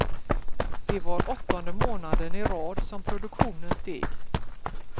Det var åttonde månaden i rad som produktionen steg.